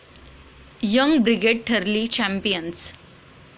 young brigade ठरली champions